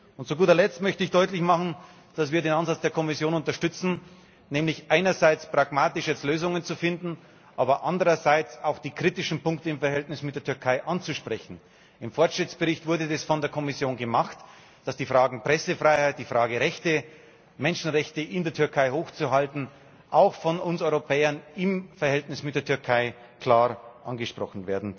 Und zu guter Letzt möchte ich deutlich machen, dass wir den Ansatz der Kommission unterstützen, nämlich jetzt einerseits pragmatische Lösungen zu finden, aber andererseits auch die kritischen Punkte im Verhältnis mit der Türkei anzusprechen. Im Fortschrittsbericht wurde das von der Kommission gemacht die Fragen der Pressefreiheit, der Rechte und der Achtung der Menschenrechte in der Türkei wurden auch von uns Europäern im Verhältnis mit der Türkei klar angesprochen.